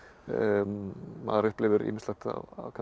maður upplifir ýmislegt kannski